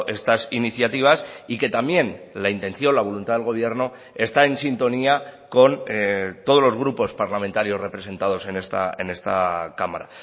estas iniciativas y que también la intención la voluntad del gobierno está en sintonía con todos los grupos parlamentarios representados en esta cámara